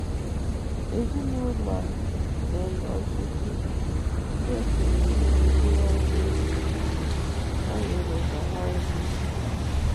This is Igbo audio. Ezinụlọ a na-enye osisi ndị e kenyere mkpokoro azụ ego ayọrọ na ha nri.